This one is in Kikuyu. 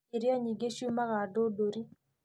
Irio nyingĩ ciumaga Ndũndũri